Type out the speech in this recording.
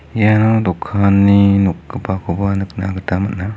ia dokani nokgipakoba niknagita man·a.